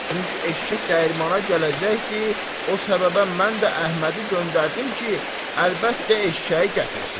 Çünki eşşək dəyirmana gələcəkdi, o səbəbə mən də Əhmədi göndərdim ki, əlbəttə eşşəyi gətirsin.